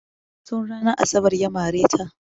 Tun ranar asabar ya mare ta.